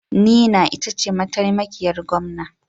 Nina ita ce mataimakiyar Gwamna.